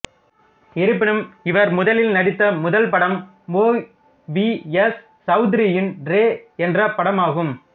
இருப்பினும் இவர் முதலில் நடித்த முதல் படம் ஒய் வி எஸ் சவுத்ரியின் ரே என்ற படமாகும்